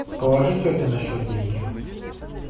положи тете на счет деньги